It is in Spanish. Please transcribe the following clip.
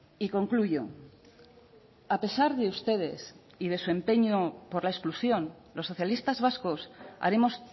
y concluyo a pesar de ustedes y de su empeño por la exclusión los socialistas vascos haremos